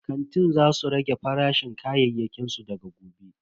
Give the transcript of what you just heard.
Kantin za su rage farashin kayayyakin su daga gobe.